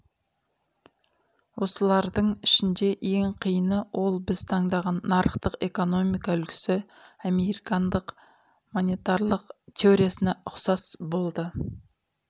осылардың ішінде ең қиыны ол біз таңдаған нарықтық экономика үлгісі американдық монетарлық теориясына ұқсас болды